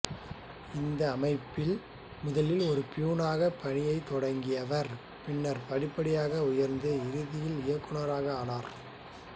இந்த அமைப்பில் முதலில் ஒரு பியூனாக பணியைத் தொடங்கியவர் பின்னர் படிப்படியாக உயர்ந்து இறுதியில் இயக்குனராக ஆனார்